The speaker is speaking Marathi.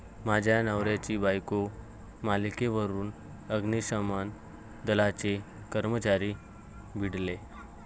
माझ्या नवऱ्याची बायको' मालिकेवरून अग्निशमन दलाचे कर्मचारी भिडले